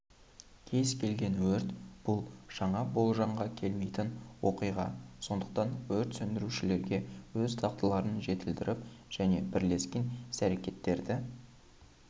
кез-келген өрт бұл жаңа болжамға келмейтін оқиға сондықтан өрт сөндірушілерге өз дағдыларын жетілдіріп және бірлескен іс-әрекеттерді